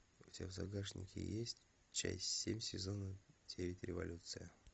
у тебя в загашнике есть часть семь сезона девять революция